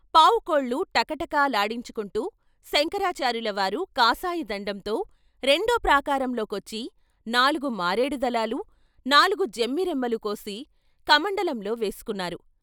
పావుకోళ్ళు టకటకలాడించుకుంటూ శంకరాచార్యులవారు కాషాయదండంతో రెండో ప్రాకారంలోకొచ్చి నాలుగు మారేడు దళాలు, నాలుగు జమ్మి రెమ్మలు కోసి కమండలంలో వేసుకున్నారు.